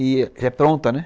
E já é pronta, né?